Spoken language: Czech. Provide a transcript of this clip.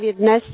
Právě dnes